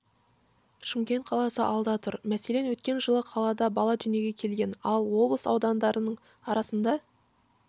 шымкент қаласы алда тұр мәселен өткен жылы қалада бала дүниеге келген ал облыс аудандарының арасында